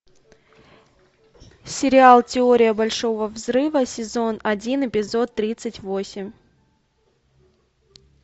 сериал теория большого взрыва сезон один эпизод тридцать восемь